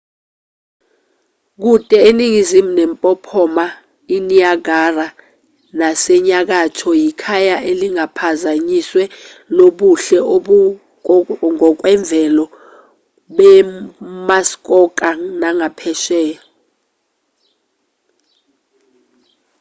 kude eningizimu nempophoma iniagara nasenyakatho yikhaya elingaphazanyisiwe lobuhle obungokwemvelo bemuskoka nagaphesheya